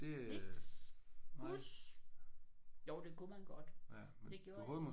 Niks! Bus! Jo det kunne man godt. Det gjorde jeg ikke